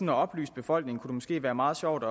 at oplyse befolkningen kunne det måske være meget sjovt